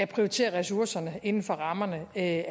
prioriterer ressourcerne inden for rammerne af